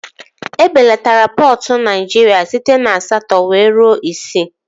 E belatara pọtụ Naịjirịa site na asatọ wee ruo isii